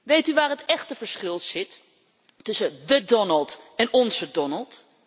Weet u waar het echte verschil zit tussen the Donald en onze Donald?